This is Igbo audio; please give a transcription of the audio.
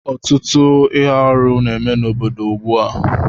Ọtụtụ ihe arụ n'eme n'obodo ugbu a